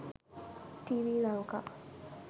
tv lanka